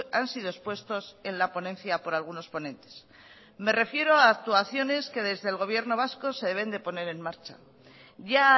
han sido expuestos en la ponencia por algunos ponentes me refiero a actuaciones que desde el gobierno vasco se deben de poner en marcha ya